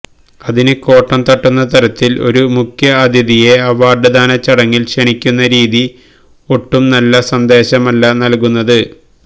അതിന് കോട്ടം തട്ടുന്ന തരത്തില് ഒരു മുഖ്യഅതിഥിയെ അവാര്ഡ് ദാന ചടങ്ങില് ക്ഷണിക്കുന്ന രീതി ഒട്ടും നല്ല സന്ദേശമല്ല നല്കുന്നത്